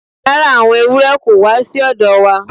Rara, awọn ewurẹ ko wa si ọ̀dọ̀ wa